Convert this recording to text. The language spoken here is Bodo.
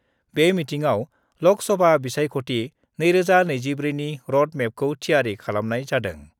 बे मिटिंआव लक सभा बिसायख'थि 2024 नि रड मेपखौ थियारि खालामनाय जादों।